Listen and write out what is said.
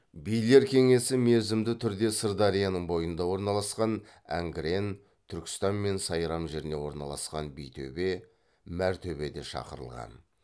билер кеңесі мерзімді түрде сырдарияның бойында орналасқан әңгірен түркістан мен сайрам жеріне орналасқан битөбе мәртөбеде шақырылған